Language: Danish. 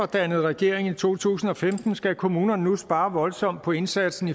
dannede regering i to tusind og femten skal kommunerne nu spare voldsomt på indsatsen